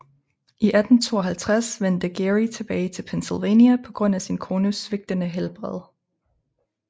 I 1852 vendte Geary tilbage til Pennsylvania på grund af sin kones svigtende helbred